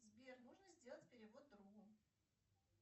сбер можно сделать перевод другу